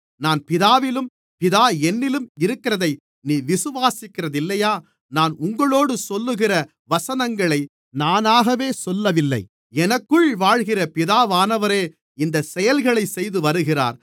நான் பிதாவிலும் பிதா என்னிலும் இருக்கிறதை நீ விசுவாசிக்கிறதில்லையா நான் உங்களோடு சொல்லுகிற வசனங்களை நானாகவே சொல்லவில்லை எனக்குள் வாழ்கிற பிதாவானவரே இந்த செயல்களைச்செய்து வருகிறார்